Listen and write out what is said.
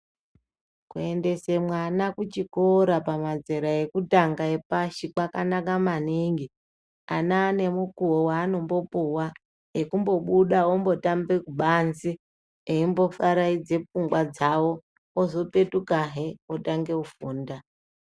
Kuendese mwana kuchikora pamazera ekutanga epashi kwakanaka maningi ana ane mukuwo wanombopuwa ekumbobuda ombotambe kubanze eimbofaraidze fungwa dzawo ozopetukahe otange kufunda.